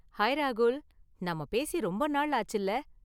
Hi ராகுல், நாம பேசி ரொம்ப நாள் ஆச்சுல.